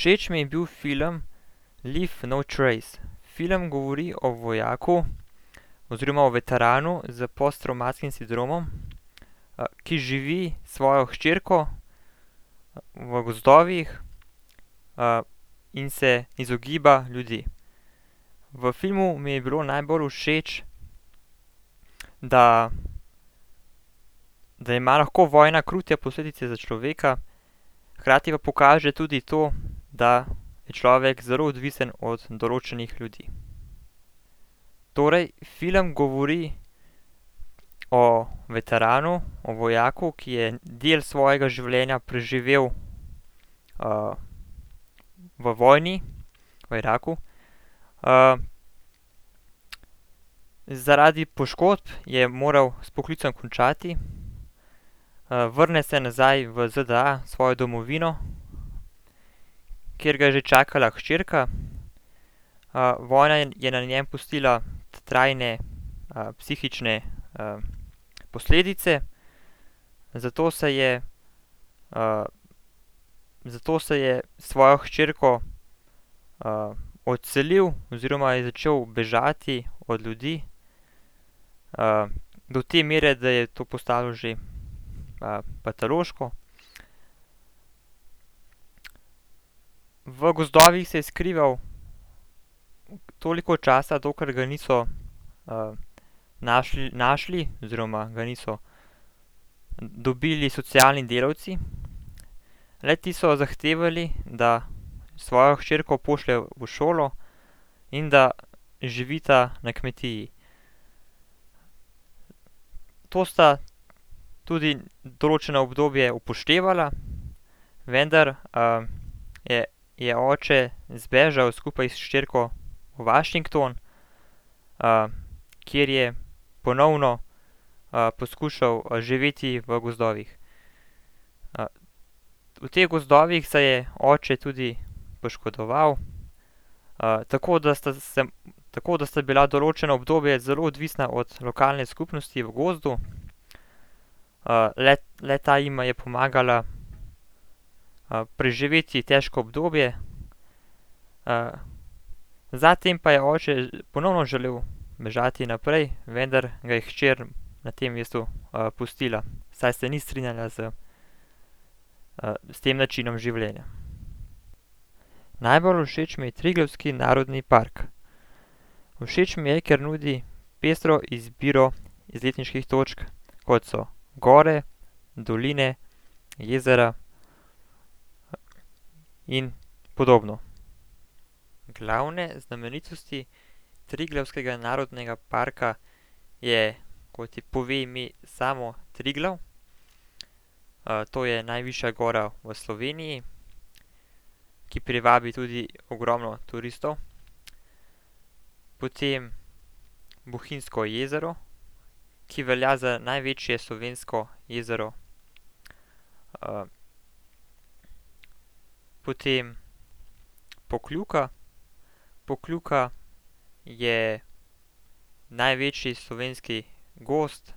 Všeč mi je bil film Leave No Trace. Film govori o vojaku oziroma o veteranu s posttravmatskim sindromom, ki živi s svojo hčerko, v gozdovih, in se izogiba ljudi. V filmu mi je bilo najbolj všeč, da, da ima lahko vojna krute posledice za človeka, hkrati pa pokaže tudi to, da je človek zelo odvisen od določenih ljudi. Torej, film govori o veteranu, o vojaku, ki je del svojega življenja preživel, v vojni v Iraku, zaradi poškodb je moral s poklicem končati, vrne se nazaj v ZDA, v svojo domovino, kjer ga je že čakala hčerka. vojna je na njem pustila trajne, psihične, posledice, zato se je, zato se je s svojo hčerko, odselil oziroma je začel bežati od ljudi, do te mere, da je to postalo že, patološko. V gozdovih se je skrival toliko časa, dokler ga niso, našli, našli oziroma ga niso dobili socialni delavci. Le-ti so zahtevali, da svojo hčerko pošlje v šolo in da živita na kmetiji. To sta tudi določeno obdobje upoštevala, vendar, je, je oče zbežal skupaj s hčerko v Washington, kjer je ponovno, poskušal, živeti v gozdovih. v teh gozdovih se je oče tudi poškodoval, tako da sta se, tako da sta bila določeno obdobje zelo odvisna od lokalne skupnosti v gozdu. le-ta jima je pomagala, preživeti težko obdobje, za tem pa je oče ponovno želel bežati naprej, vendar ga je hčer na tem mestu, pustila, saj se ni strinjala z, s tem načinom življenja. Najbolj všeč mi je Triglavski narodni park. Všeč mi je, ker nudi pestro izbiro izletniških točk, kot so gore, doline, jezera in podobno. Glavne znamenitosti Triglavskega narodnega parka je, kot, je, pove ime samo, Triglav, to je najvišja gora v Sloveniji, ki privabi tudi ogromno turistov. Potem Bohinjsko jezero, ki velja za največje slovensko jezero, Potem Pokljuka, Pokljuka je največji slovenski gozd,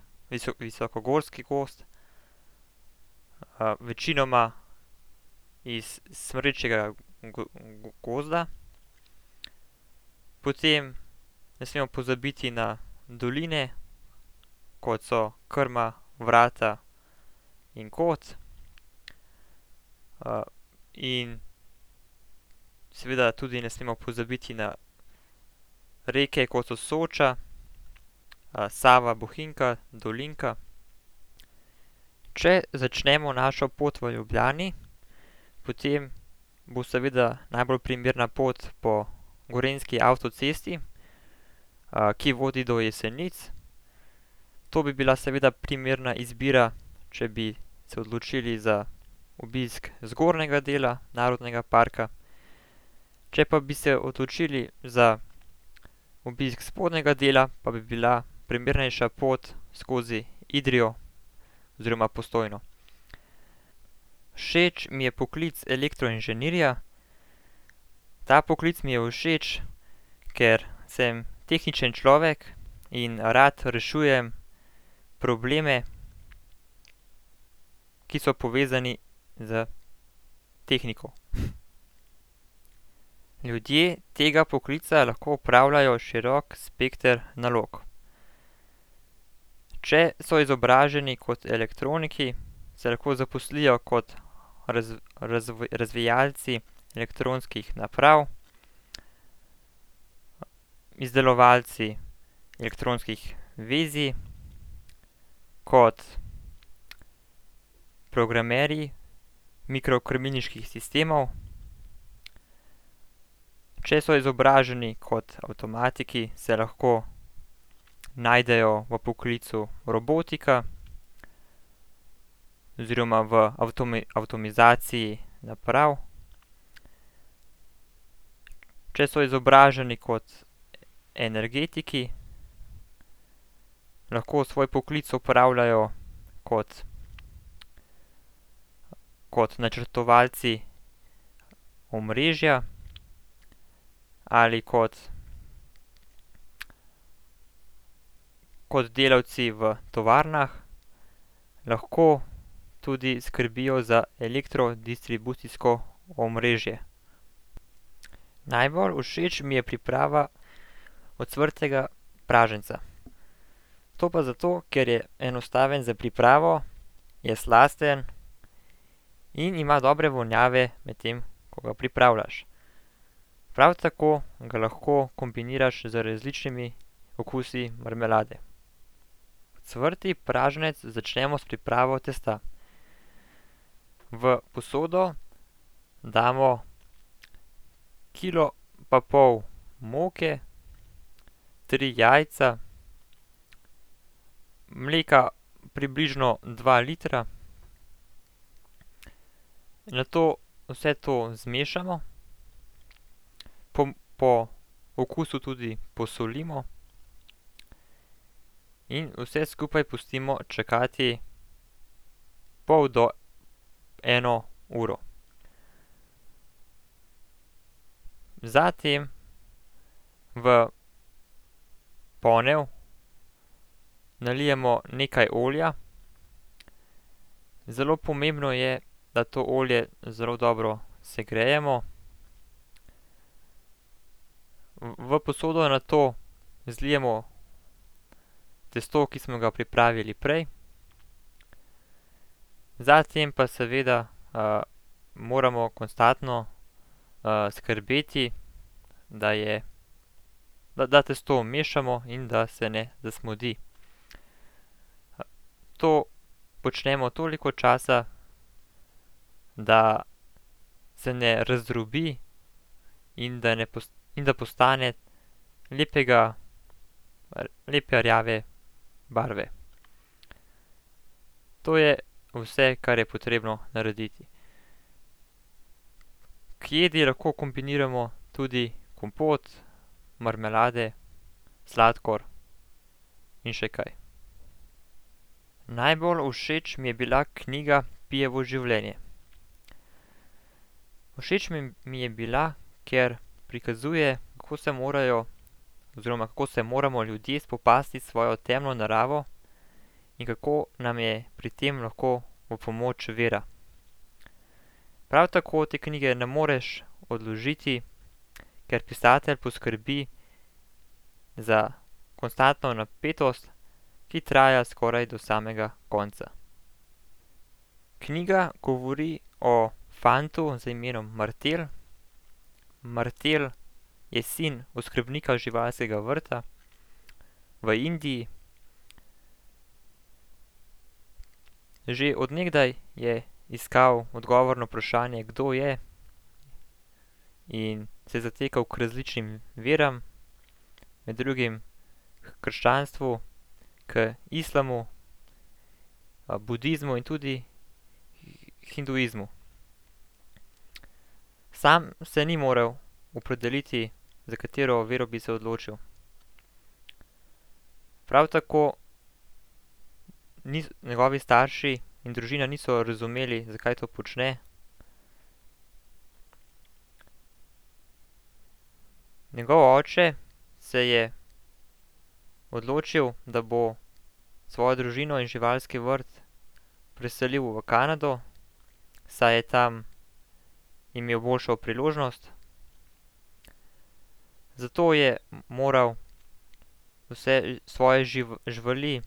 visokogorski gozd, večinoma iz smrečjega gozda, potem ne smemo pozabiti na doline, kot so Krma, Vrata in Kot. in seveda tudi ne smemo pozabiti na reke, kot so Soča, Sava Bohinjka, Dolinka. Če začnemo našo pot v Ljubljani, potem bo seveda najbolj primerna pot po gorenjski avtocesti, ki vodi do Jesenic. To bi bila seveda primerna izbira, če bi se odločili za obisk zgornjega dela narodnega parka, če pa bi se odločili za obisk spodnjega dela, pa bi bila primernejša pot skozi Idrijo oziroma Postojno. Všeč mi je poklic elektroinženirja, ta poklic mi je všeč, ker sem tehničen človek in rad rešujem probleme, ki so povezani s tehniko. Ljudje tega poklica lahko opravljajo širok spekter nalog. Če so izobraženi kot elektroniki, se lahko zaposlijo kot razvijalci elektronskih naprav, izdelovalci elektronskih vezij, kot programerji mikrokrmilniških sistemov. Če so izobraženi kot avtomatiki, se lahko najdejo v poklicu robotika oziroma v avtomizaciji naprav. Če so izobraženi kot energetiki, lahko svoj poklic opravljajo kot, kot načrtovalci omrežja ali kot, kot delavci v tovarnah. Lahko tudi skrbijo za elektrodistribucijsko omrežje. Najbolj všeč mi je priprava ocvrtega praženca. To pa zato, ker je enostaven za pripravo, je slasten in ima dobre vonjave, medtem ko ga pripravljaš. Prav tako ga lahko kombiniraš z različnimi okusi marmelade. Cvrti praženec začnemo s pripravo testa. V posodo damo kilo pa pol moke, tri jajca, mleka približno dva litra. Nato vse to zmešamo, po okusu tudi posolimo in vse skupaj pustimo čakati pol do eno uro. Za tem v ponev nalijemo nekaj olja, zelo pomembno je, da to olje zelo dobro segrejemo. V, v posodo nato zlijemo testo, ki smo ga pripravili prej. Za tem pa seveda, moramo konstantno, skrbeti, da je, da testo mešamo in da se ne zasmodi. To počnemo toliko časa, da se ne razdrobi in da ne in da postane lepega lepe rjave barve. To je vse, kar je potrebno narediti. K jedi lahko kombiniramo tudi kompot, marmelade, sladkor in še kaj. Najbolj všeč mi je bila knjiga Pijevo življenje. Všeč mi je bila, ker prikazuje, kako se morajo oziroma kako se moramo ljudje spopasti s svojo temno naravo in kako nam je pri tem lahko v pomoč vera. Prav tako te knjige ne moreš odložiti, ker pisatelj poskrbi za konstantno napetost, ki traja skoraj do samega konca. Knjiga govori o fantu z imenom Martel, Martel je sin oskrbnika živalskega vrta v Indiji. Že od nekdaj je iskal odgovor na vprašanje, kdo je, in se zatekal k različnim veram, med drugim h krščanstvu, k islamu, budizmu in tudi hinduizmu. Sam se ni moral opredeliti, za katero vero bi se odločil. Prav tako njegovi starši in družina niso razumeli, zakaj to počne. Njegov oče se je odločil, da bo svojo družino in živalski vrt preselil v Kanado, saj je tam imel boljšo priložnost. Zato je moral vse svoje živali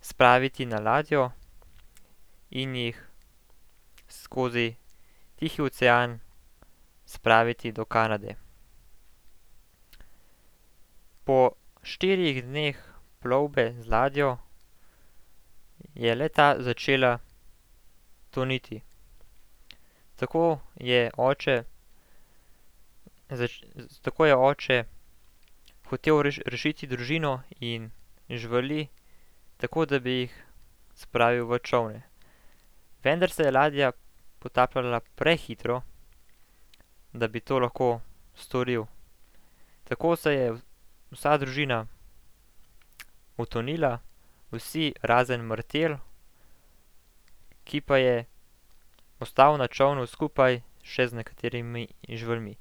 spraviti na ladjo in jih skozi Tihi ocean spraviti do Kanade. Po štirih dneh plovbe z ladjo je le-ta začela toniti. Tako je oče tako je oče hotel rešiti družino in živali tako, da bi jih spravil v čoln. Vendar se je ladja potapljala prehitro, da bi to lahko storil. Tako se je vsa družina potonila, vsi, razen Martel, ki pa je ostal na čolnu skupaj še z nekaterimi živalmi.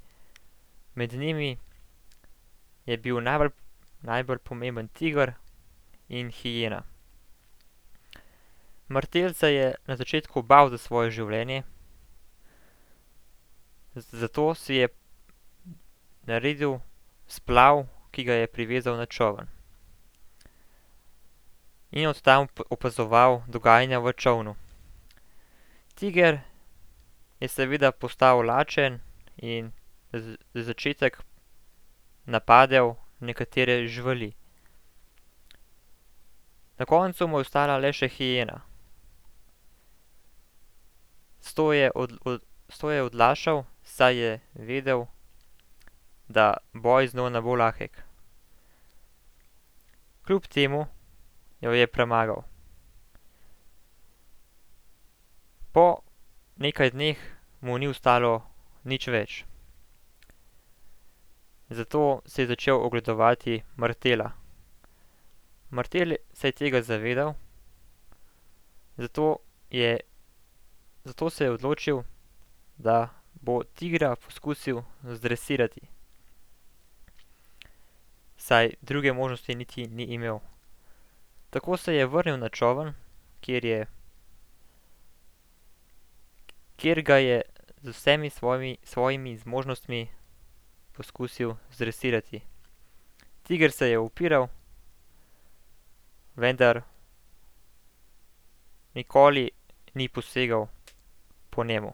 Med njimi je bil najbolj, najbolj pomemben tiger in hijena. Martel se je na začetku bal za svoje življenje, zato si je naredil splav, ki ga je privezal na čoln in od tam opazoval dogajanje v čolnu. Tiger je seveda postal lačen in za začetek napadel nekatere živali. Na koncu mu je ostala le še hijena. S to je s to je odlašal, saj je vedel, da boj z njo ne bo lahek. Kljub temu jo je premagal. Po nekaj dneh mu ni ostalo nič več. Zato si je začel ogledovati Martela. Martel se je tega zavedal, zato je, zato se je odločil, da bo tigra poskusil zdresirati, saj druge možnosti niti ni imel. Tako se je vrnil na čoln, kjer je, kjer ga je z vsemi svojimi, svojimi zmožnostmi poskusil zdresirati. Tiger se je upiral, vendar nikoli ni posegel po njem.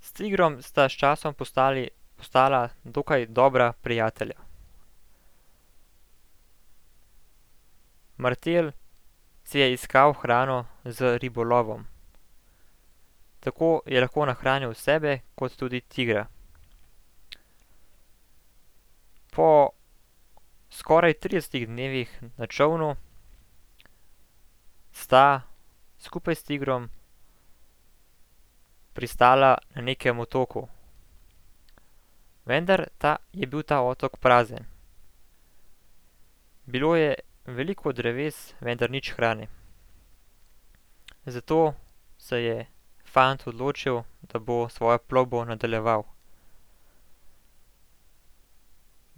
S tigrom sta s časom postali, postala dokaj dobra prijatelja. Martel si je iskal hrano z ribolovom. Tako je lepo nahranjal sebe kot tudi tigra. Po skoraj tridesetih dnevih na čolnu sta skupaj s tigrom pristala na nekem otoku. Vendar ta, je bil ta otok prazen. Bilo je veliko dreves, vendar nič hrane. Zato se je fant odločil, da bo svojo plovbo nadaljeval.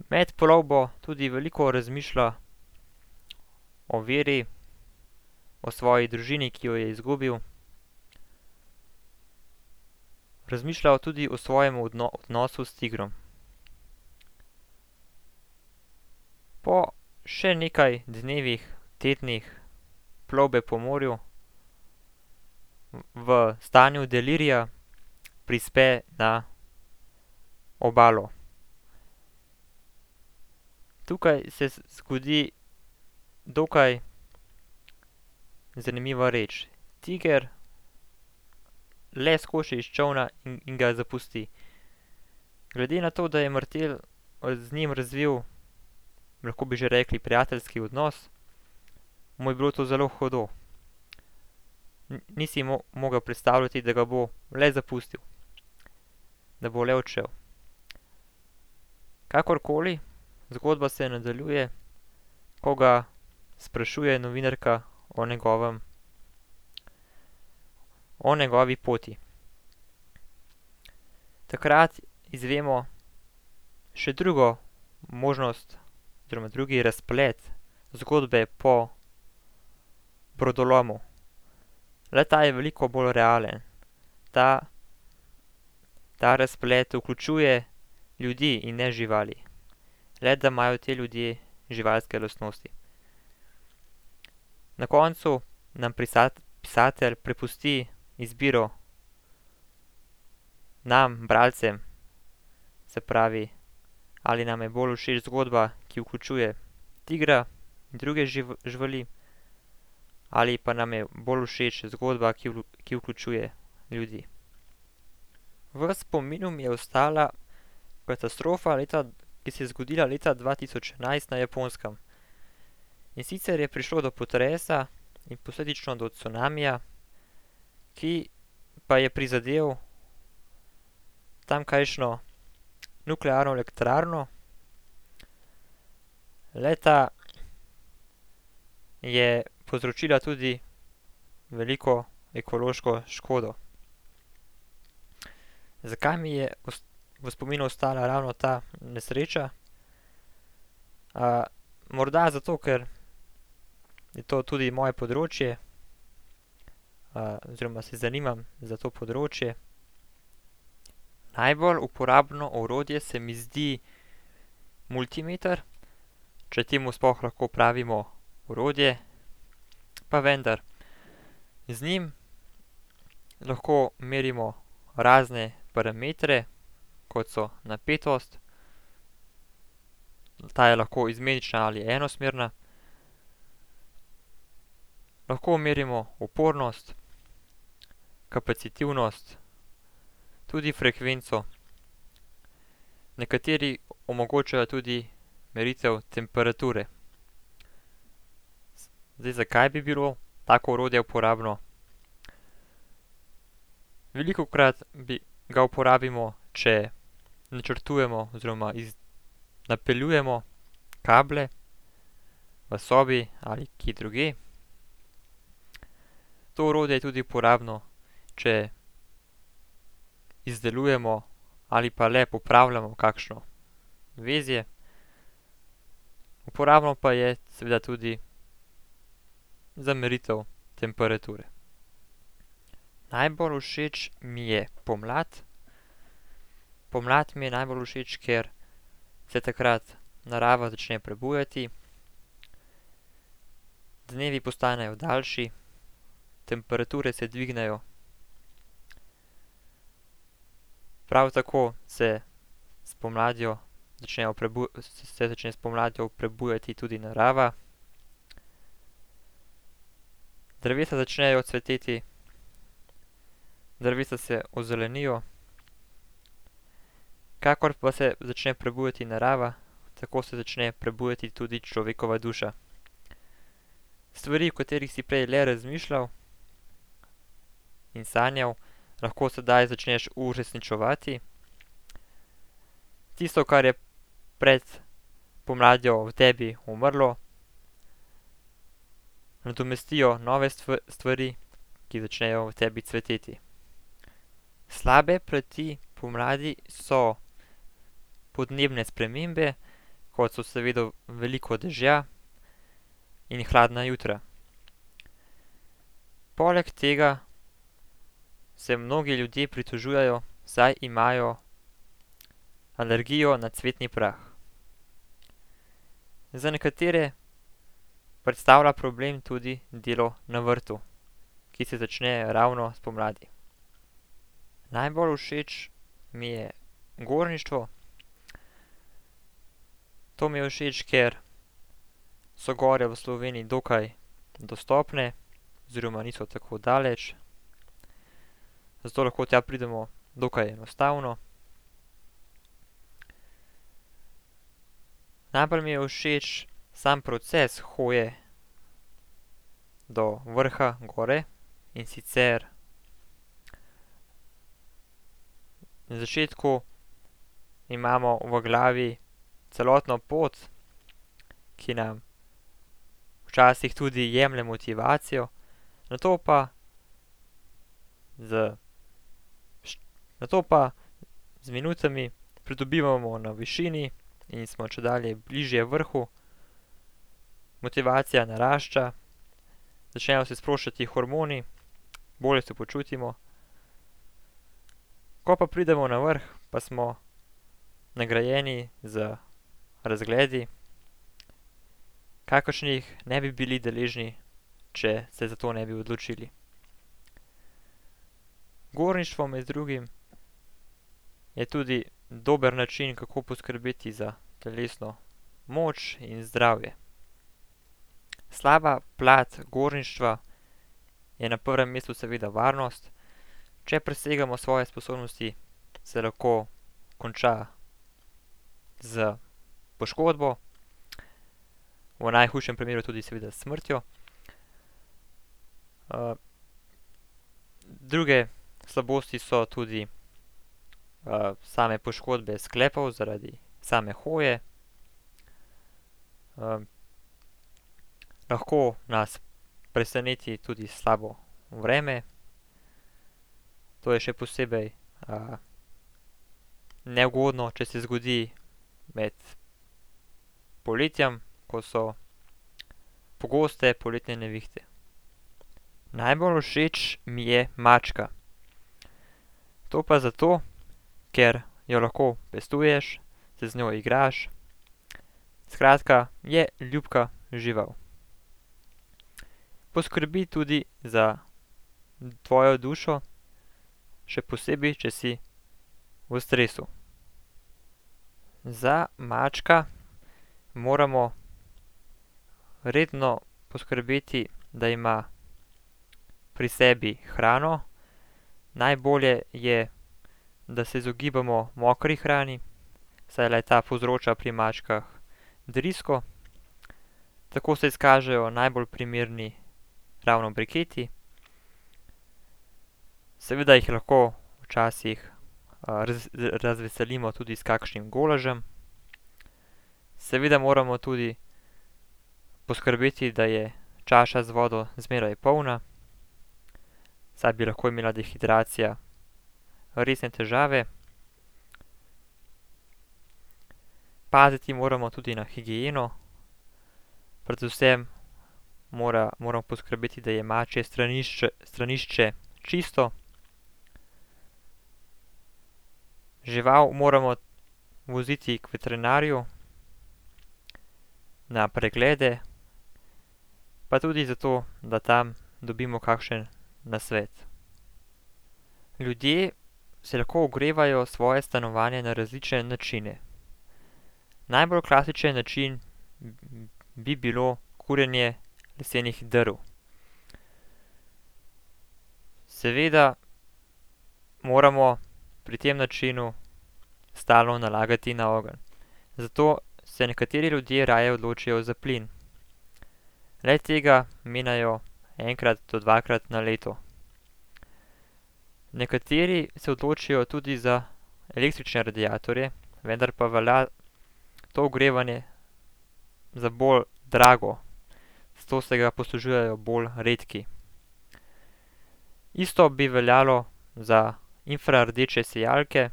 Med plovbo tudi veliko razmišlja o veri, o svoji družini, ki jo je izgubil, razmišlja tudi o svojem odnosu s tigrom. Po še nekaj dnevih, tednih plovbe po morju v stanju delirija prispe na obalo. Tukaj se zgodi dokaj zanimiva reč. Tiger le skoči iz čolna in ga zapusti. Glede na to, da je Martel, z njim razvil, lahko bi že rekli, prijateljski odnos, mu je bilo to zelo hudo. ni si mogel predstavljati, da ga bo le zapustil, da bo le odšel. Kakorkoli, zgodba se nadaljuje, ko ga sprašuje novinarka o njegovem, o njegovi poti. Takrat izvemo še drugo možnost, oziroma drugi razplet zgodbe po brodolomu. Le-ta je veliko bolj realen. Ta, ta razplet vključuje ljudi in ne živali, le da imajo te ljudje živalske lastnosti. Na koncu nam pisatelj prepusti izbiro, nam, bralcem, se pravi, ali nam je bolj všeč zgodba, ki vključuje tigra, druge živali, ali pa nam je bolj všeč zgodba, ki ki vključuje ljudi. V spominu mi je ostala katastrofa leta, ki se je zgodila leta dva tisoč enajst na Japonskem. In sicer je prišlo do potresa in posledično do cunamija, ki pa je prizadel tamkajšnjo nuklearno elektrarno. Le-ta je povzročila tudi veliko ekološko škodo. Zakaj mi je v spominu ostala ravno ta nesreča? morda zato, ker je to tudi moje področje, oziroma se zanimam za to področje. Najbolj uporabno orodje se mi zdi multimeter, če temu sploh lahko pravimo orodje. Pa vendar, z njim lahko merimo razne parametre, kot so napetost, ta je lahko izmenična ali enosmerna, lahko merimo upornost, kapacitivnost, tudi frekvenco. Nekateri omogočajo tudi meritev temperature. Zdaj, zakaj bi bilo tako orodje uporabno? Velikokrat ga uporabimo, če načrtujemo oziroma napeljujemo kable, v sobi ali kje drugje. To orodje je tudi uporabno, če izdelujemo ali pa le popravljamo kakšno vezje. Uporabno pa je seveda tudi za meritev temperature. Najbolj všeč mi je pomlad. Pomlad mi je najbolj všeč, ker se takrat narava začne prebujati, dnevi postanejo daljši, temperature se dvignejo. Prav tako se s pomladjo začnejo se začne s pomladjo prebujati tudi narava. Drevesa začnejo cveteti, drevesa se ozelenijo. Kakor pa se začne prebujati narava, tako se začne prebujati tudi človekova duša. Stvari, o katerih si prej le razmišljal in sanjal, lahko sedaj začneš uresničevati. Tisto, kar je pred pomladjo v tebi umrlo, nadomestijo nove stvari, ki začnejo v tebi cveteti. Slabe plati pomladi so podnebne spremembe, kot so seveda veliko dežja in hladna jutra. Poleg tega se mnogi ljudje pritožujejo, saj imajo alergijo na cvetni prah. Za nekatere predstavlja problem tudi delo na vrtu, ki se začne ravno spomladi. Najbolj všeč mi je gorništvo. To mi je všeč, ker so gor v Sloveniji dokaj dostopne oziroma niso tako daleč, zato lahko tja pridemo dokaj enostavno. Najbolj mi je všeč sam proces hoje do vrha gor, in sicer na začetku imamo v glavi celotno pot, ki nam včasih tudi jemlje motivacijo. Nato pa z ... Nato pa z minutami pridobivamo na višini in smo čedalje bližje vrhu. Motivacija narašča, začnejo se sproščati hormoni, bolje se počutimo. Ko pa pridemo na vrh, pa smo nagrajeni z razgledi, kakršnih ne bi bili deležni, če se za to ne bi odločili. Gorništvo med drugim je tudi dober način, kako poskrbeti za telesno moč in zdravje. Slaba plat gorništva je na prvem mestu seveda varnost. Če presegamo svoje sposobnosti, se lahko konča s poškodbo, v najhujšem primeru tudi seveda s smrtjo. druge slabosti so tudi, same poškodbe sklepov zaradi same hoje. lahko nas preseneti tudi slabo vreme. To je še posebej, neugodno, če se zgodi med poletjem, ko so pogoste poletne nevihte. Najbolj všeč mi je mačka. To pa zato, ker jo lahko pestuješ, se z njo igraš, skratka, je ljubka žival. Poskrbi tudi za tvojo dušo, še posebej, če si v stresu. Za mačka moramo redno poskrbeti, da ima pri sebi hrano, najbolje je, da se izogibamo mokri hrani, saj le-ta povzroča pri mačkah drisko. Tako se izkažejo najbolj primerni ravno briketi. Seveda jih lahko včasih, razveselimo tudi s kakšnim golažem. Seveda moramo tudi poskrbeti, da je čaša z vodo zmeraj polna, saj bi lahko imela dehidracija resne težave. Paziti moramo tudi na higieno, predvsem moramo poskrbeti, da je mačje stranišče, stranišče čisto. Žival moramo voziti k veterinarju na preglede, pa tudi zato, da tam dobimo kakšen nasvet. Ljudje si lahko ogrevajo svoje stanovanje na različne načine. Najbolj klasičen način bi bilo kurjenje lesenih drv. Seveda moramo pri tem načinu stalno nalagati na ogenj. Zato se nekateri ljudje raje odločijo za plin. Le-tega menjajo enkrat do dvakrat na leto. Nekateri se odločijo tudi za električne radiatorje, vendar pa velja to ogrevanje za bolj drago. Zato se ga poslužujejo bolj redki. Isto bi veljalo za infrardeče sijalke,